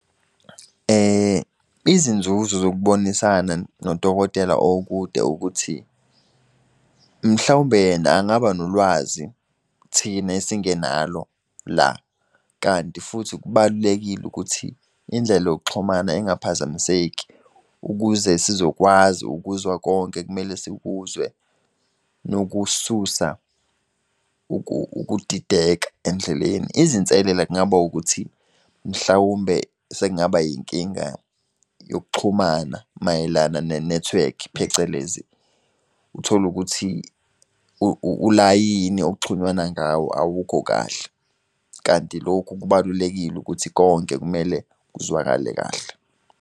Izinzuzo zokubonisana nodokotela okude ukuthi, mhlawumbe yena angaba nolwazi thina esingenalo la. Kanti futhi kubalulekile ukuthi indlela yokuxhumana ingaphazamiseka ukuze sizokwazi ukuzwa konke ekumele sikuzwe, nokususa ukudideka endleleni. Izinselela kungaba ukuthi mhlawumbe sekungaba inkinga yokuxhumana mayelana nenethiwekhi phecelezi, uthole ukuthi ulayini okuxhunyanwa ngawo awukho kahle. Kanti lokhu kubalulekile ukuthi konke kumele kuzwakale kahle.